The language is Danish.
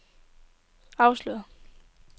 afsløret